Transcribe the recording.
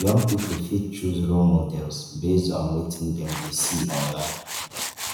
young pipo fit choose role models based on wetin dem dey see online